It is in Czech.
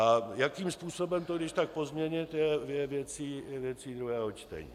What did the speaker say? A jakým způsobem to když tak pozměnit je věcí druhého čtení.